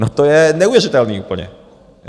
No to je neuvěřitelný úplně.